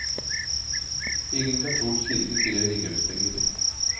Ingen katolsk kirke krever inngangspenger.